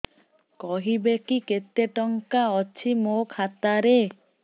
କହିବେକି କେତେ ଟଙ୍କା ଅଛି ମୋ ଖାତା ରେ